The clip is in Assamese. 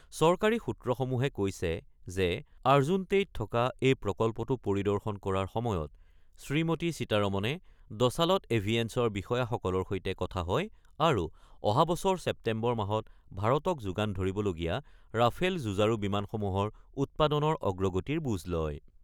চৰকাৰী সূত্ৰসমূহে কৈছে যে আৰ্জুনতেইত থকা এই প্ৰকল্পটো পৰিদৰ্শন কৰাৰ সময়ত শ্ৰীমতী সীতাৰমণে ডছালট এভিয়েছনৰ বিষয়াসকলৰ সৈতে কথা হয় আৰু অহা বছৰ ছেপ্তেম্বৰ মাহত ভাৰতক যোগান ধৰিবলগীয়া ৰাফেল যুঁজাৰু বিমানসমূহৰ উৎপাদনৰ অগ্ৰগতিৰ বুজ লয়।